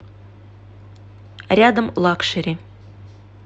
рядом лакшери